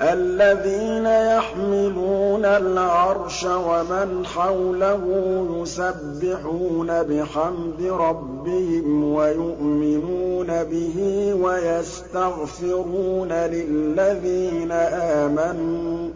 الَّذِينَ يَحْمِلُونَ الْعَرْشَ وَمَنْ حَوْلَهُ يُسَبِّحُونَ بِحَمْدِ رَبِّهِمْ وَيُؤْمِنُونَ بِهِ وَيَسْتَغْفِرُونَ لِلَّذِينَ آمَنُوا